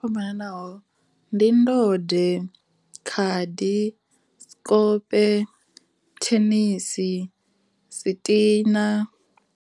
Yo fhambanaho ndi ndode, khadi, sikope, thenisi, sitina.